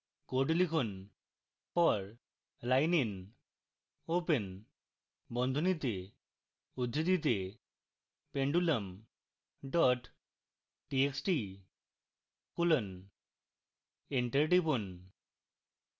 code লিখুন